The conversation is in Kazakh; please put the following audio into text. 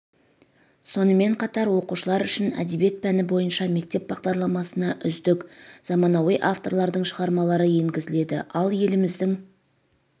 сонымен қатар оқушылар үшін әдебиет пәні бойынша мектеп бағдарламасына үздік заманауи авторлардың шығармалары енгізіледі ал еліміздің